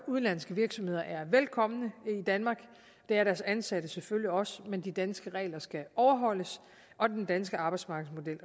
udenlandske virksomheder er velkomne i danmark og det er deres ansatte selvfølgelig også men de danske regler skal overholdes og den danske arbejdsmarkedsmodel